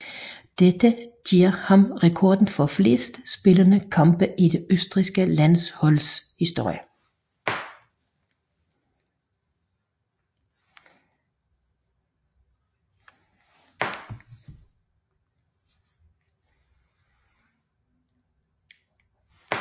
Dette giver ham rekorden for flest spillede kampe i det østrigske landsholds historie